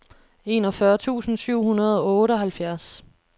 enogfyrre tusind syv hundrede og otteoghalvfjerds